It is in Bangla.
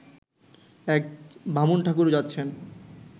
এক বামুনঠাকুর যাচ্ছেন